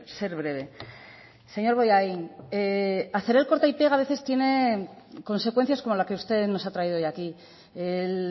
ser breve señor bollain hacer el corta y pega a veces tiene consecuencias como la que usted nos ha traído hoy aquí el